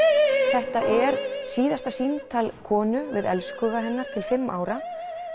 þetta er síðasta símtal konu við elskhuga hennar til fimm ára